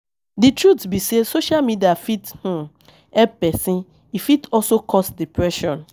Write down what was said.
Di truth be sey, social media fit um help person, e fit also cause depression